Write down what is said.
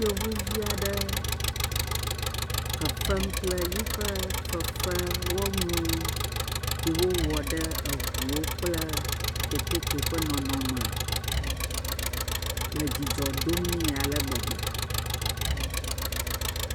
Yevuvi aɖe fefem kple yiƒe fefewɔnuwo yi wowɔ ɖe eŋuwo kple kekeke ƒe nɔnɔme le dzidzɔ dom nɛ ale gbegbe.